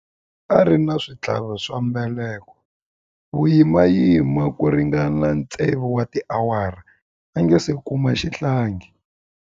A ri na switlhavi swa mbeleko vuyimani ku ringana tsevu wa tiawara a nga si kuma xihlangi.